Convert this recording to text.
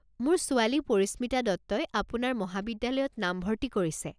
মোৰ ছোৱালী পৰিশ্মিতা দত্তই আপোনাৰ মহবিদ্যালয়ত নামভৰ্ত্তি কৰিছে।